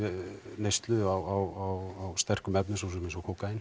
neyslu á sterkum efnum eins og kókaín